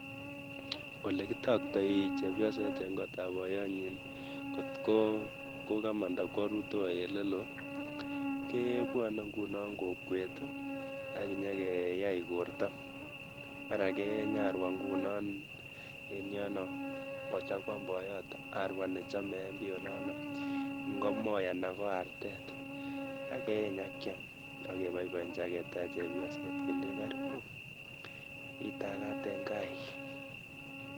Olekitoktai chepyost eng' kot ap boiyonyi kotko kokamanda korutoi oleloo, kebwane nguno kokwet akinyekeyai borto , mara keeny arwa nguno in yo kochakuan boiyot arwa nechame ngo moi anan ko artet akeeny akiam akebaibachi aketaach chepyoset kelech karibu itagaat eng' gaai